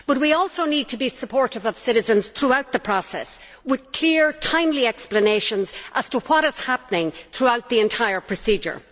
But we also need to be supportive of citizens throughout the process, with clear, timely explanations as to what is happening throughout the entire procedure.